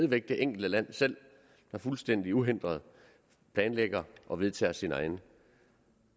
væk det enkelte land selv der fuldstændig uhindret planlægger og vedtager sine egne